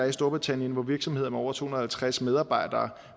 i storbritannien hvor virksomheder med over to hundrede og halvtreds medarbejdere